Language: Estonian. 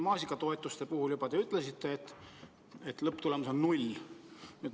Maasikatoetuste puhul te juba ütlesite, et lõpptulemus on null.